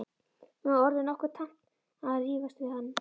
Mér var orðið nokkuð tamt að rífast við hann.